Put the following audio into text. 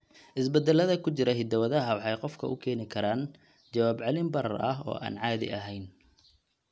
Isbeddellada ku jira hidda-wadaha waxay qofka u keeni karaan jawaab-celin barar ah oo aan caadi ahayn.